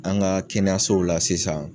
An ka kɛnɛyasow la sisan